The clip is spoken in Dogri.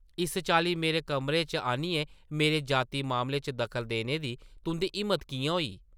इस चाल्ली मेरे कमरे च आनियै मेरे ज़ाती मामले च दखल देने दी तुंʼदी हिम्मत किʼयां होई ?